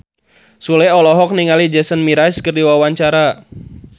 Sule olohok ningali Jason Mraz keur diwawancara